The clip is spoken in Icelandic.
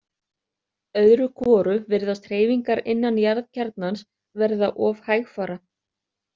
Öðru hvoru virðast hreyfingar innan jarðkjarnans verða of hægfara.